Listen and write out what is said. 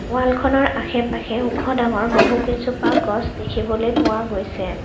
ওৱালখনৰ আশে পাশে ওখ ডাঙৰ বহু কেইজোপা গছ দেখিবলৈ পোৱা গৈছে।